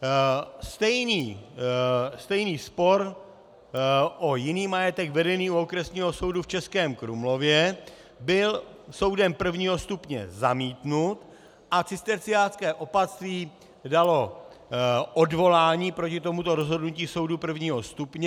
Stejný spor o jiný majetek vedený u Okresního soudu v Českém Krumlově byl soudem prvního stupně zamítnut a cisterciácké opatství dalo odvolání proti tomuto rozhodnutí soudu prvního stupně.